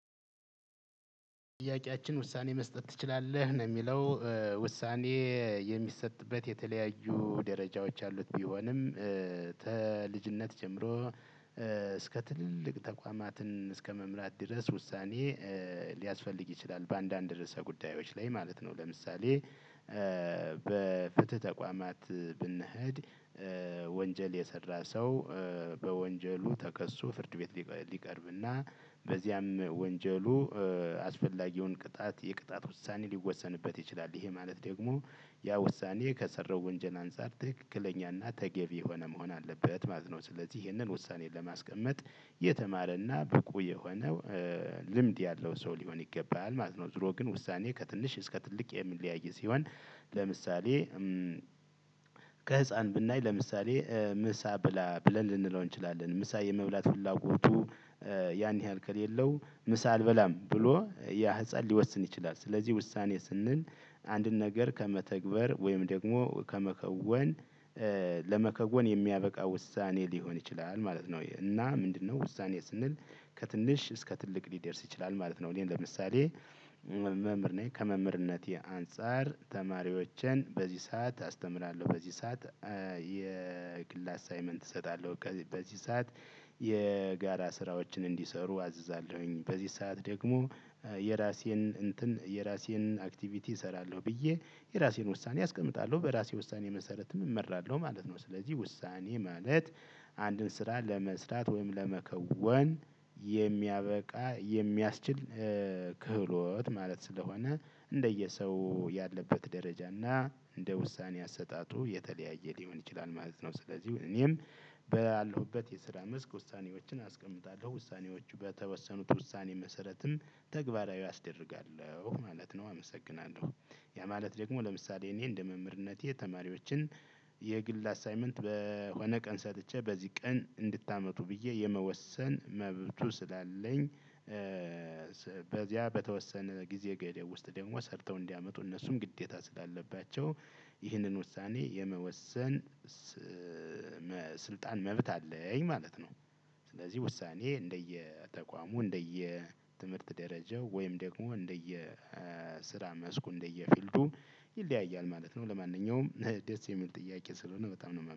ጥያቄያችን ውሳኔ መስጠት ትችላለህ ነው የሚለው? ውሳኔ የሚሰጥበት የተለያዩ ደረጃዎች አሉት። ቢሆንም ተልጅነት ጀምሮ እስከ ትልልቅ ተቋማትን እስከ መምራት ድረስ ውሳኔ ሊያስፈልግ ይችላል በአንዳንድ ርዕሰ ጉዳዮች ላይ ማለት ነው። ለምሳሌ በፍትህ ተቋማት ብንሄድ ወንጀል የሰራ ሰው በወንጀሉ ተከሶ ፍርድ ቤት ሊቀርብና በዚያም ወንጀሉ አስፈላጊውን ቅጣት የቅጣት ውሳኔ ሊወሰንበት ይችላል። ይሄ ማለት ደግሞ ያ ውሳኔ ከሰራው ወንጀል አንፃር ትክክለኛና ተገቢ የሆነ መሆን አለበት ማለት ነው። ስለዚህ ይሄንን ውሳኔን ለማስቀመጥ የተማረና ብቁ የሆነው ልምድ ያለው ሰው ሊሆን ይገባል ማለት ነው። ዙሮ ግን ውሳኔ ከትንሽ እስከ ትልቅ የሚለያይ ሲሆን። ለምሳሌ ከህፃን ብናይ ለምሳሌ ምሳ ብላ ብለን ልንለው እንችላለን ምሳ የመብላት ፍላጎቱ ያን ያህል ከሌለው ምሳ አልበላም ብሎ ያ ህፃን ሊወስን ይችላል። ስለዚህ ውሳኔ ስንል አንድን ነገር ከመተግበር ወይም ደግሞ ከመከወን ለመከወን የሚያበቃ ውሳኔ ሊሆን ይችላል ማለት ነው። እና ምንድነው? ውሳኔ ስንል ከትንሽ እስከ ትልቅ ሊደርስ ይችላል ማለት ነው። እኔ ለምሳሌ መምህር ነኝ ከመምህርነቴ አንፃር ተማሪዎችን በዚህ ሰዓት አስተምራለሁ በዚህ ሰዓት የግል አሳይመንት እሰጣለሁ። በዚህ ሰዓት የጋራ ስራዎችን እንዲሰሩ አዝዛለሁኝ በዚህ ሰዓት ደግሞ የራሴን እንትን የራሴን አክቲቪቲ እሰራለሁ። ብዬ የራሴን ውሳኔ አስቀምጣለሁ በራሴ ውሳኔ መሰረት እመራለሁ ማለት ነው። ስለዚህ ውሳኔ ማለት አንድን ስራ ለመስራት ወይም ለመከወን የሚያበቃ የሚያስችል ክህሎት ማለት ስለሆነ እንደየሰው ያለበት ደረጃ እና እንደ ውሳኔ አሰጣጡ የተለያየ ሊሆን ይችላል ማለት ነው። ስለዚህ እኔም ባለሁበት የስራ መስክ ውሳኔዎችን አስቀምጣለሁ ውሳኔዎቹ በተወሰኑት ውሳኔ መሰረትም ተግባራዊ አስደርጋለሁ ማለት ነው። አመሰግናለሁ ያ ማለት ደግሞ ለምሳሌ እኔ እንደ መምህርነቴ የተማሪዎችን የግል አሳይመንት በሆነ ቀን ሰጥቼ በዚህ ቀን እንድታመጡ ብዬ የመወሰን መብቱ ስላለኝ። በዚያ በተወሰነ ጊዜ ገደብ ውስጥ ደግሞ ሰርተው እንዲያመጡ እነሱም ግዴታ ስላለባቸው ይህንን ውሳኔ የመወሰን ስልጣን መብት አለኝ ማለት ነው። ስለዚህ ውሳኔ እንደየተቋሙ እንደየትምህርት ደረጃው ወይም ደግሞ እንደየ ስራ መስኩ እንደየ ፊልዱ ይለያያል ማለት ነው። ለማንኛውም ደስ የሚል ጥያቄ ስለሆነ በጣም ነው